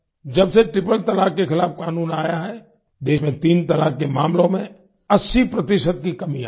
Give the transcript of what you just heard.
जब से ट्रिपल तलाक के खिलाफ कानून आया है देश में तीन तलाक के मामलों में 80 प्रतिशत की कमी आई है